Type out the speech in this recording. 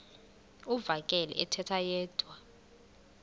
uvakele ethetha yedwa